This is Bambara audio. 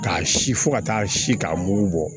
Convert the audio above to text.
K'a si fo ka taa si k'a mugu bɔ